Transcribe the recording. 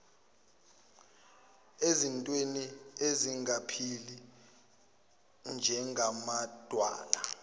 ezintweni ezingaphili njengamadwala